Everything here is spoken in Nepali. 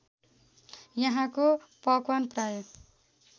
यहाँको पकवान प्रायः